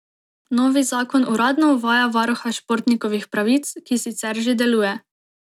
Novi zakon uradno uvaja varuha športnikovih pravic, ki sicer že deluje.